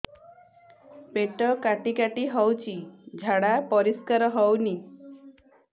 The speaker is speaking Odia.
ପେଟ କାଟି କାଟି ହଉଚି ଝାଡା ପରିସ୍କାର ହଉନି